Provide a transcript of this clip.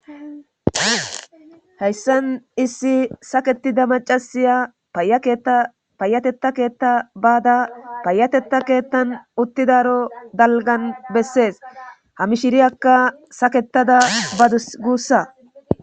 Heyssan issi saketida macasiya payakeetta payatetta keetta baada payatetta keettan utti daro dalgan bessees hamishiriyakka saketada badus guussa